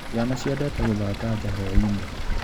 Ciana ciendete gũthaka nja hwainĩ.